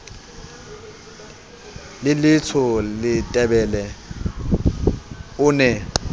le letsho letebele o ne